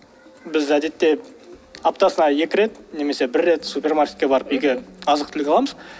біз әдетте аптасына екі рет немесе бір рет супермаркетке барып үйге азық түлік аламыз